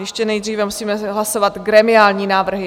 Ještě nejdříve musíme hlasovat gremiální návrhy.